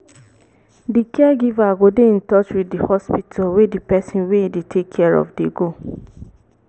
di caregiver go dey in touch with di hospital wey di person wey im dey take care of dey go